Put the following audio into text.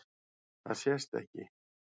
Það sést ekki.